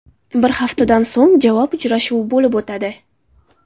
Bir haftadan so‘ng javob uchrashuvi bo‘lib o‘tadi.